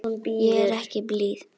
Ég er ekki blíð.